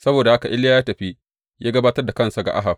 Saboda haka Iliya ya tafi ya gabatar da kansa ga Ahab.